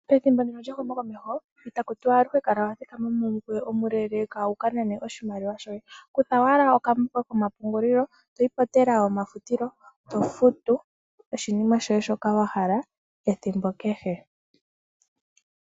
Pethimbo ndino lyehumo komeho itaku tiwa aluhe kala wathikama momukweyo omuleeleka wuka nane oshimaliwa shoye, kutha owala okambo koye toyi pomafutilo tofutu oshinima shoka wahala ethimbo kehe.